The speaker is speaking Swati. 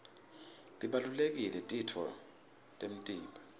tibalulekile titfo temtimba